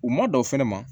U ma don fɛnɛ ma